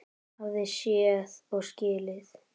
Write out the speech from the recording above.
Hafði séð og skilið.